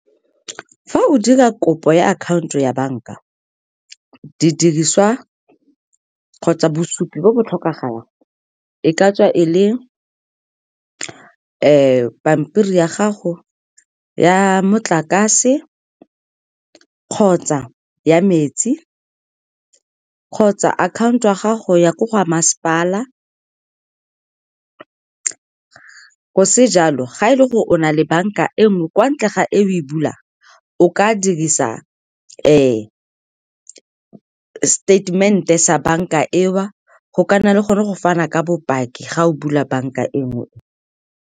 Fa o dira kopo ya akhaonto ya banka, didiriswa kgotsa bosupi bo bo tlhokagalang e ka tswa e le pampiri ya gago ya motlakase kgotsa ya metsi kgotsa akhaonto ya gago ya ko go masepala. Go se jalo, ga e le gore o na le banka engwe kwa ntle ga e o e bulang, o ka dirisa statement-e sa banka e o go ka nna le gone go fana ka bopaki ga o bula banka nngwe.